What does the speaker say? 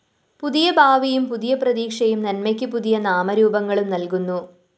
പുതിയ ഭാവിയും പുതിയ പ്രതീക്ഷയും നന്മയ്ക്കു പുതിയ നാമരൂപങ്ങളും നല്‍കുന്നു